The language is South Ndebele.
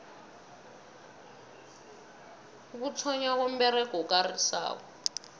ukuthonnywa komberego okarisako